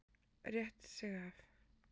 Rétti sig af.